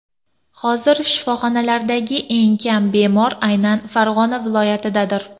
Hozir shifoxonalardagi eng kam bemor aynan Farg‘ona viloyatidadir.